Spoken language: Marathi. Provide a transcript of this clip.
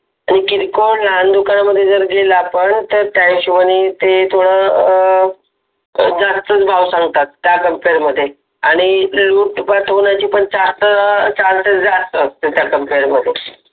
पन किरकोळ दुकानांमध्ये जर गेला आपण तर त्या हिशोबाने ते थोड जास्तच भाव सांगतात त्या Compare मधे आणि पाठवण्याचे charges पण जास्ती असतात त्या Compare मधे